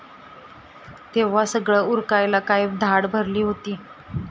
तेव्हा सगळं उरकायला काय धाड भरली होती?